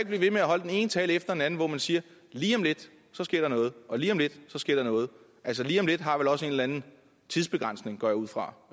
blive ved med at holde den ene tale efter den anden hvor man siger at lige om lidt sker der noget og lige om lidt sker der noget altså lige om lidt har vel også en eller anden tidsbegrænsning går jeg ud fra